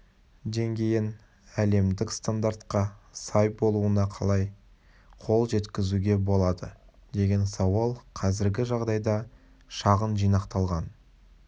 деңгейін әлемдік стандартқа сай болуына қалай қол жеткізуге болады деген сауал қазіргі жағдайда шағын жинақталған